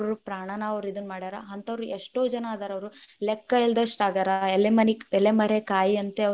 ಅವ್ರವ್ರ ಪ್ರಾಣಾನ ಅವ್ರ್‌ ಇದನ್ ಮಾಡ್ಯಾರ, ಹಂಥವ್ರು ಏಷ್ಟೋ ಜನಾ ಅದಾರ್ ಅವ್ರು, ಲೆಕ್ಕಾ ಇಲ್ಲದಷ್ಟು ಆಗ್ಯಾರ ಎಲೆಮರಿ~ಎಲೆಮರೆಕಾಯಿಯಂತೆ ಅವ್ರು.